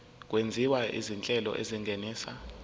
okwenziwa izinhlelo ezingenisa